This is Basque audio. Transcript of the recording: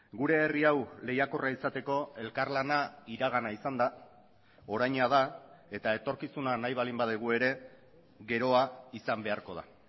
gure herri hau lehiakorra izateko elkarlana iragana izan da oraina da eta etorkizuna nahi baldin badugu ere geroa izan beharko da